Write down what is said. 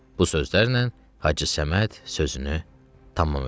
Bu sözlərlə Hacı Səməd sözünü tamam elədi.